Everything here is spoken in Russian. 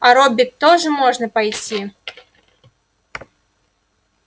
а робби тоже можно пойти